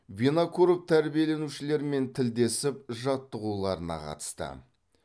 винокуров тәрбиеленушілермен тілдесіп жаттығуларына қатысты